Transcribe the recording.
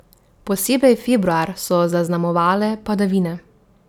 Posebej februar so zaznamovale padavine.